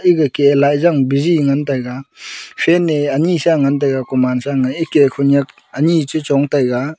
ega ke laizang bizi ngan taiga fan ne anyi sha ngan tega koman sang a eke khonyak anyi chu chong tega.